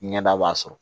Ɲɛda b'a sɔrɔ